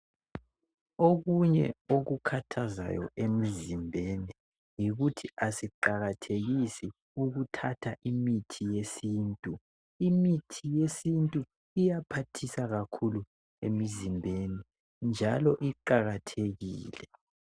Okunye okukhathazayo emizimbeni yikuthi asiqakathekisi ukuthatha imithi yesintu .Imithi yesintu iyaphathisa kakhulu emizimbeni ,njalo iqakathekile.